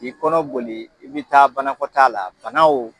K'i kɔnɔ boli, i bɛ taa banakɔtaa la, bana o